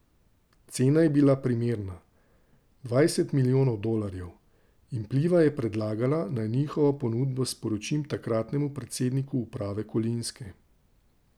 Cena je bila primerna, dvajset milijonov dolarjev, in Pliva je predlagala, naj njihovo ponudbo sporočim takratnemu predsedniku uprave Kolinske.